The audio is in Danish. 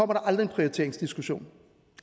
aldrig en prioriteringsdiskussion